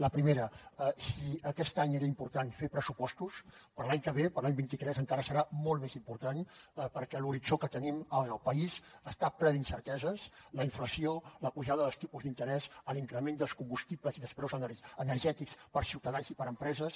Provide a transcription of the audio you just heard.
la primera si aquest any era important fer pressupostos per a l’any que ve per a l’any vint tres encara serà molt més important perquè l’horitzó que tenim en el país està ple d’incerteses la inflació la pujada dels tipus d’interès l’increment dels combustibles i dels preus energètics per a ciutadans i per a empreses